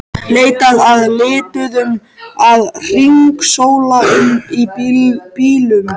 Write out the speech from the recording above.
Leitað að lituðum að hringsóla um í bílum.